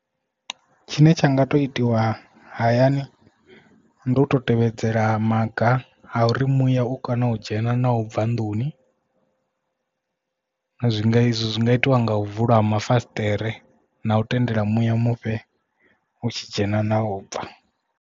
Tshine tsha nga to itiwa hayani ndi uto tevhedzela maga a uri muya u kana u dzhena na u bva nḓuni zwi nga izwo zwi nga itiwa nga u vula mafasiṱere na u tendela muya mufhe u tshi dzhena na u bva.